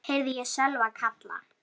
heyrði ég Sölva kalla.